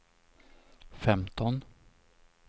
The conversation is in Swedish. femton